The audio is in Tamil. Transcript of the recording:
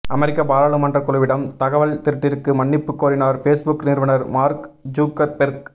அமெரிக்க பாராளுமன்ற குழுவிடம் தகவல் திருட்டிற்கு மன்னிப்பு கோரினார் ஃபேஸ்புக் நிறுவனர் மார்க் ஜுக்கர்பெர்க்